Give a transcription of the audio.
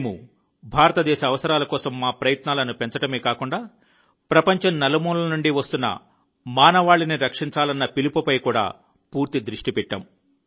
మేము భారతదేశ అవసరాల కోసం మా ప్రయత్నాలను పెంచడమే కాక ప్రపంచం నలుమూలల నుండి వస్తున్న మానవాళిని రక్షించాలన్న పిలుపుపై కూడా పూర్తి దృష్టి పెట్టాము